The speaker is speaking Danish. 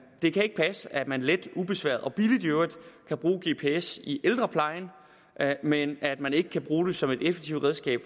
det kan ikke passe at man let ubesværet og billigt i øvrigt kan bruge gps i ældreplejen men at man ikke kan bruge det som et effektivt redskab